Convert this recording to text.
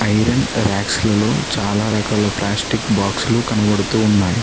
Iron racks లలో చాలా రకాల ప్లాస్టిక్ బాక్సులు కనబడుతూ ఉన్నాయి.